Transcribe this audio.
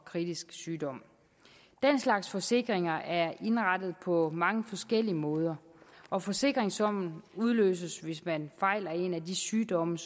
kritisk sygdom den slags forsikringer er indrettet på mange forskellige måder og forsikringssummen udløses hvis man fejler en af de sygdomme